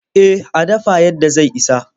Eh a dafa yadda zai isa.